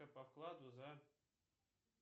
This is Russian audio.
по вкладу за